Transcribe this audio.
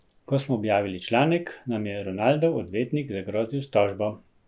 Ko smo objavili članek, nam je Ronaldov odvetnik zagrozil s tožbo.